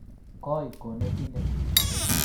koii konetinde